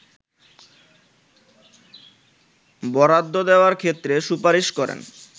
বরাদ্দ দেওয়ার ক্ষেত্রে সুপারিশ করেন